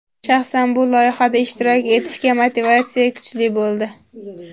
Shaxsan bu loyihada ishtirok etishga motivatsiya kuchli bo‘ldi.